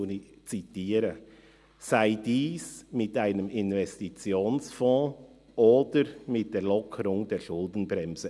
Und nun zitiere ich: «sei dies mit einem Investitionsfonds oder mit der Lockerung der Schuldenbremse».